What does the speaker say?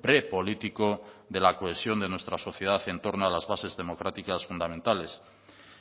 prepolítico de la cohesión de nuestra sociedad en torno a las bases democráticas fundamentales